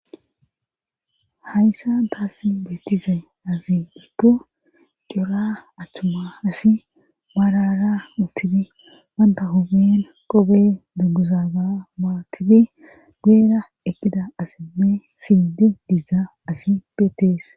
hayssa taass beettize azi gikku cora attuma asi barara uttidi banta homiyen qobe dugguzaaga baatidi guuera ekida asinne siidi dizza asi beetees